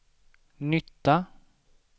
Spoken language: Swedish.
nytta